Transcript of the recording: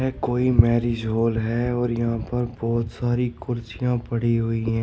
है कोई marriage hall है और यहां पर बोहोत सारी कुर्सियां पड़ी हुई हैं।